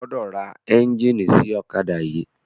O gbọdọ̀ ra ẹ́ńjíìnì sí ọ̀kádà yìí.